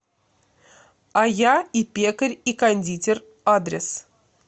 а я и пекарь и кондитер адрес